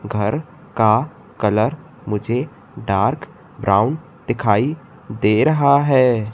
घर का कलर मुझे डार्क ब्राउन दिखाई दे रहा है।